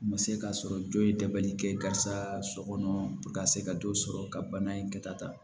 U ma se ka sɔrɔ jɔ ye dɛbali kɛ karisa so kɔnɔ ka se ka dɔ sɔrɔ ka bana in kɛta